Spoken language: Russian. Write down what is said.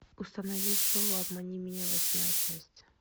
установи шоу обмани меня восьмая часть